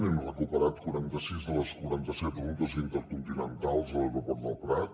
hem recuperat quaranta sis de les quaranta set rutes intercontinentals de l’aeroport del prat